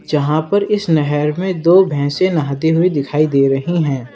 जहां पर इस नहर में दो भैंसे नहाती हुई दिखाई दे रही हैं।